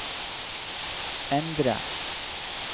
endre